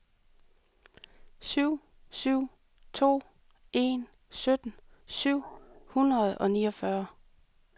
syv syv to en sytten syv hundrede og niogfyrre